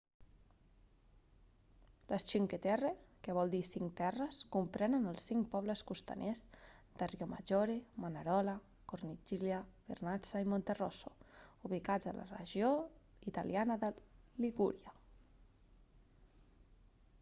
les cinque terre que vol dir cinc terres comprenen els cinc pobles costaners de riomaggiore manarola corniglia vernazza i monterosso ubicats a la regió italiana de ligúria